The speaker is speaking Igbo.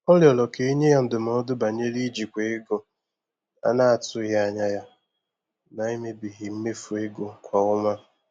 Ọ rịọrọ ka e nye ya ndụmọdụ banyere ijikwa ego a na-atụghị anya ya n'emebighị mmefu ego kwa ọnwa.